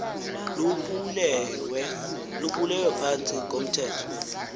lubulewe phantsi komthetho